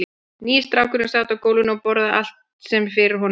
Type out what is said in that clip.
Nýi strákurinn sat á gólfinu og borðaði allt sem fyrir honum varð.